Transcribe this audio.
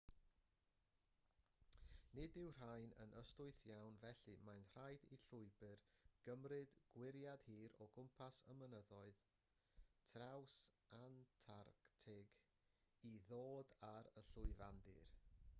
nid yw'r rhain yn ystwyth iawn felly mae'n rhaid i'r llwybr gymryd gwyriad hir o gwmpas y mynyddoedd trawsantarctig i ddod ar y llwyfandir